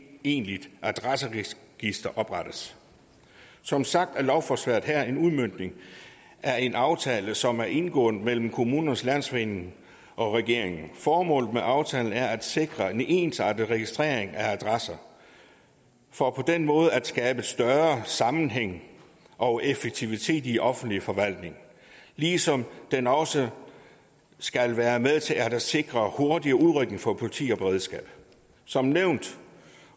egentligt adresseregister oprettes som sagt er lovforslaget her en udmøntning af en aftale som er indgået mellem kommunernes landsforening og regeringen formålet med aftalen er at sikre en ensartet registrering af adresser for på den måde at skabe større sammenhæng og effektivitet i den offentlige forvaltning ligesom den også skal være med til at sikre hurtig udrykning for politi og beredskab som nævnt